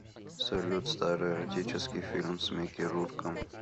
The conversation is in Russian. салют старый эротический фильм с микки рурком